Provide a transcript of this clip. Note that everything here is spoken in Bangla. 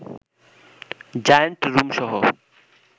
জায়ান্ট রুমসহ